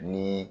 Ni